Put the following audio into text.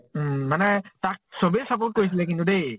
উম মানে তাক চবেই support কৰিছিলে কিন্তু দেই